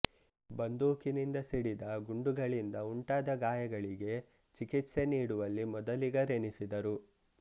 ಬಂದೂಕಿನಿಂದ ಸಿಡಿದ ಗುಂಡುಗಳಿಂದ ಉಂಟಾದ ಗಾಯಗಳಿಗೆ ಚಿಕಿತ್ಸೆ ನೀಡುವಲ್ಲಿ ಮೊದಲಿಗರೆನಿಸಿದರು